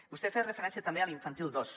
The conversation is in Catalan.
vostè ha fet referència també a l’infantil dos